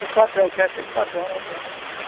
Para os patrões, que é cheio de patrões lá dentro, a